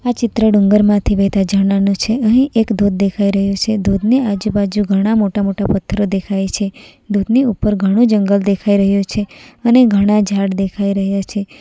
ચિત્ર ડુંગર માંથી વહેતા ઝરણા નું છે નહીં એક ધોધ દેખાય રહ્યું છે ધોધ ની આજુબાજુ ઘણા મોટા મોટા પથ્થરો દેખાય છે ધોધની ઉપર ઘણું જંગલ દેખાઈ રહ્યું છે અને ઘણા ઝાડ દેખાઈ રહ્યા છે.